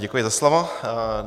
Děkuji za slovo.